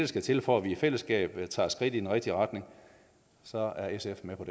skal til for at vi i fællesskab tager skridt i den rigtige retning så er sf med på